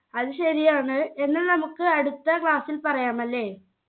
അത് ശരിയാണ് എന്നാൽ നമുക്ക് അടുത്ത class ൽ പറയാമല്ലേ